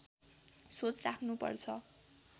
सोच राख्नु पर्छ